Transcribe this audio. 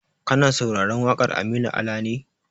Kana sauraron waƙar Aminu Ala ne?